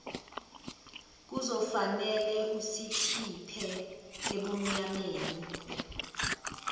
kuzofanele usikhiphe ebumnyameni